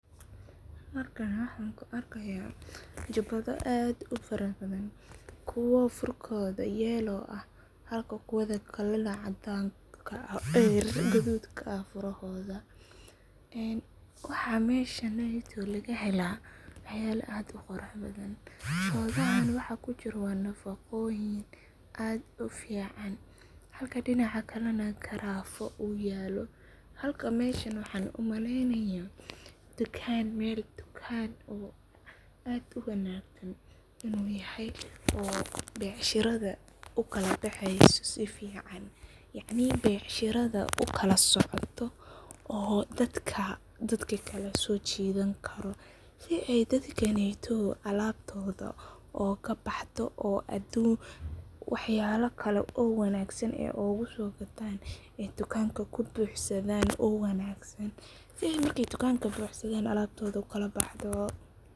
Halkan waxan kuu arkaya jubado aad ufarabadhan, kuwa furkoda yellow ah halka kuwada kale nah gadud ka ah furahoda waxa meshaneytow, lagahela waxyalo aad uquraxbadhan shodahan waxa kujiro waa nafaqoyin aad ufican, halka dinaca kale nah garafo uyalo halka meshan waxan umaleynaya meel dukan ah oo aad uwanagsan uu yahay becshirada, ukalabexeyso sifican yaci becshirada ukalasocoto oo dadka dadka kale sojidhankaro, sii ay dadkaneytow alabtoda ogabaxdo oo adunka waxyabo kale oo wanagsan, oguso gatan dukanka kubuxsadan oo wanagsan sidha markay dukanka buxsadan alabtoda ukalabaxdo.